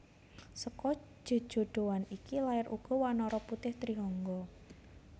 Seka jejodhoan iki lair uga wanara putih Trihangga